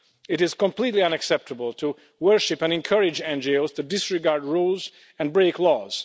It is completely unacceptable to worship and encourage NGOs to disregard rules and break laws.